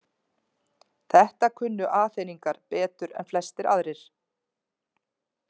Þetta kunnu Aþeningar betur en flestir aðrir.